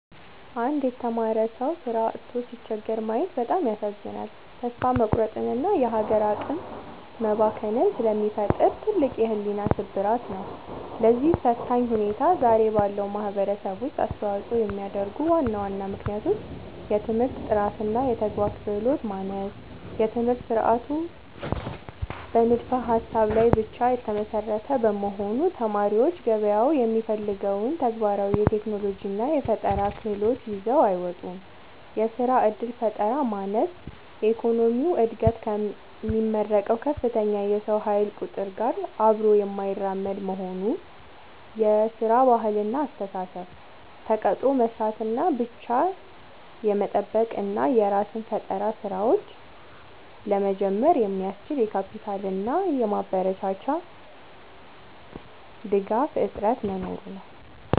አንድ የተማረ ሰው ሥራ አጥቶ ሲቸገር ማየት በጣም ያሳዝናል፤ ተስፋ መቁረጥንና የሀገር አቅም መባከንን ስለሚፈጥር ትልቅ የሕሊና ስብራት ነው። ለዚህ ፈታኝ ሁኔታ ዛሬ ባለው ማኅበረሰብ ውስጥ አስተዋፅኦ የሚያደርጉ ዋና ዋና ምክንያቶች፦ የትምህርት ጥራትና የተግባር ክህሎት ማነስ፦ የትምህርት ሥርዓቱ በንድፈ-ሀሳብ ላይ ብቻ የተመሰረተ በመሆኑ፣ ተማሪዎች ገበያው የሚፈልገውን ተግባራዊ የቴክኖሎጂና የፈጠራ ክህሎት ይዘው አይወጡም። የሥራ ዕድል ፈጠራ ማነስ፦ የኢኮኖሚው ዕድገት ከሚመረቀው ከፍተኛ የሰው ኃይል ቁጥር ጋር አብሮ የማይራመድ መሆኑ። የሥራ ባህልና አስተሳሰብ፦ ተቀጥሮ መሥራትን ብቻ የመጠበቅ እና የራስን የፈጠራ ሥራዎች (Startup) ለመጀመር የሚያስችል የካፒታልና የማበረታቻ ድጋፍ እጥረት መኖሩ ነው።